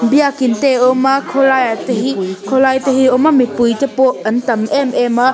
biakin te a awm a khawlai ah te hi khawlai te hi a awm a mipui te pawh an tam em em a.